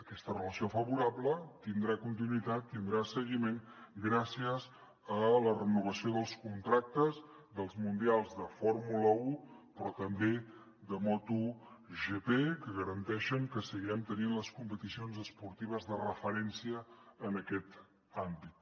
aquesta relació favorable tindrà continuïtat tindrà seguiment gràcies a la renovació dels contractes dels mundials de fórmula un però també de motogp que garanteixen que seguirem tenint les competicions esportives de referència en aquest àmbit